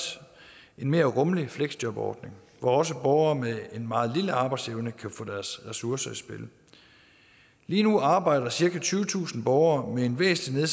en mere rummelig fleksjobordning hvor også borgere med en meget lille arbejdsevne kan få deres ressourcer i spil lige nu arbejder cirka tyvetusind borgere med en væsentlig